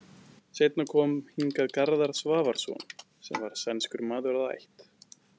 Seinna kom hingað Garðar Svavarsson sem var sænskur maður að ætt.